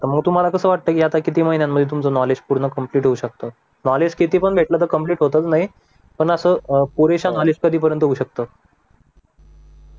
तर मग तुम्हाला कसं वाटतंय की आता किती महिन्यांमध्ये तुमचं नॉलेज पूर्ण कम्प्लीट होऊ शकत नॉलेज सिटी पण भेटल तर कम्प्लीट होतच नाही पण अस पुरेस नॉलेज कधीपर्यंत होऊ शकत